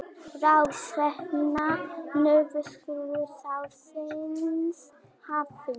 Ráðstefna Norðurskautsráðsins hafin